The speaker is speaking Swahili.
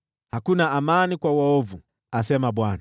“Hakuna amani kwa waovu,” asema Bwana .